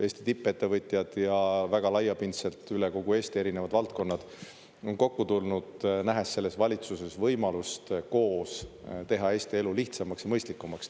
Eesti tippettevõtjad ja väga laiapindselt üle kogu Eesti erinevad valdkonnad on kokku tulnud, nähes selles valitsuses võimalust koos teha Eesti elu lihtsamaks ja mõistlikumaks.